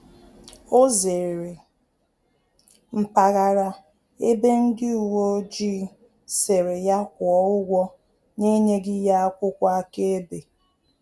Ọ zere mpaghara ebe ndị uweojii sịrị ya kwuo ụgwọ na enyeghi ya akwụkwọ aka-ebe